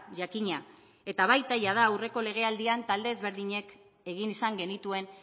jakina eta baita jada aurreko legealdian talde ezberdinek egin izan genituen